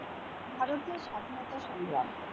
ভারতের স্বাধীনতা সংগ্রাম।